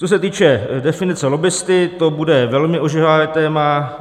Co se týče definice lobbisty, to bude velmi ožehavé téma.